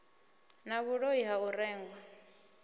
na vhuloi ha u rengwa